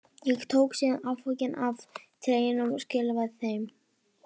Ég tók síðan afganginn af treyjunum og skilaði þeim.